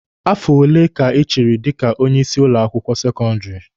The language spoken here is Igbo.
Afo ole ka ị chịrị dika onye isi ụlọ akwụkwọ sekọndịrị?